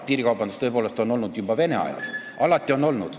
Piirikaubandus on tõepoolest olnud juba Vene ajal, see on alati olnud.